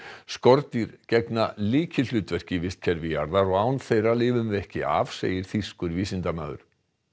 skordýr gegna lykilhlutverki í vistkerfi jarðar og án þeirra lifum við ekki af segir þýskur vísindamaður